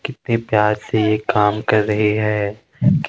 कितने प्यार से ये काम कर रहे हैं।